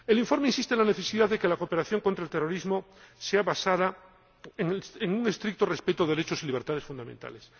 El informe insiste en la necesidad de que la cooperación contra el terrorismo se base en un estricto respeto de los derechos y las libertades fundamentales.